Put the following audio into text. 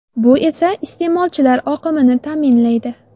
Bu esa iste’molchilar oqimini ta’minlaydi.